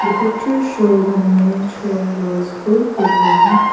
The picture shows an image of a school program.